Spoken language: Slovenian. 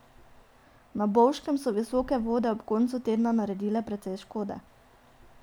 Na Bovškem so visoke vode ob koncu tedna naredile precej škode.